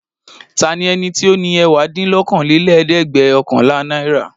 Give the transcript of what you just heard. Ta ni ó ní ẹ̀wádínlókòólélẹ́ẹ̀dẹ́gbẹ̀ọ̀kànlá náírà?